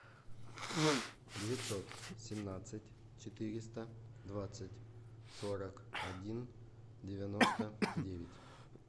девятьсот семнадцать четыреста двадцать сорок один девяносто девять